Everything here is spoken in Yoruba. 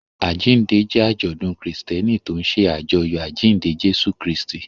Àjíǹde jẹ́ àjọ̀dún Kristẹni tó ń ṣe àjọyọ̀ àjíǹde Jésù Kristi.